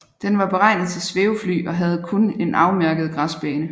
Den var beregnet til svævefly og havde kun en afmærket græsbane